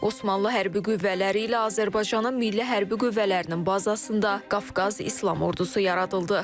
Osmanlı hərbi qüvvələri ilə Azərbaycanın milli hərbi qüvvələrinin bazasında Qafqaz İslam Ordusu yaradıldı.